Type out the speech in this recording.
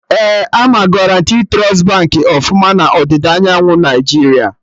Ee, ama Guarantee Trust Baankị ọfụma na ọdịda anyanwụ Naijiria